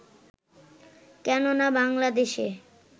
কেননা বাংলাদেশে